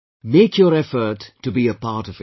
Make your effort to be a part of it